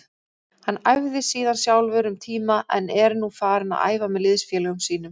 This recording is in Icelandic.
Hann æfði síðan sjálfur um tíma en er nú farinn að æfa með liðsfélögum sínum.